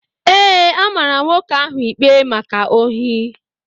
Ee, a mara nwoke ahụ ikpe maka ohi